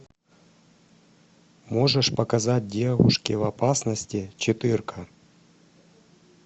можешь показать девушки в опасности четыре ка